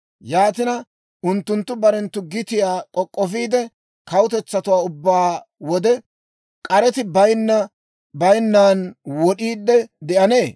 Yaatina, unttunttu barenttu gitiyaa k'ok'k'ofiide kawutetsatuwaa ubbaa wode k'areti bayinnan wod'iide de'anee?